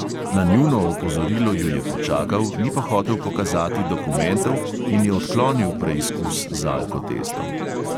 Na njuno opozorilo ju je počakal, ni pa hotel pokazati dokumentov in je odklonil preizkus z alkotestom.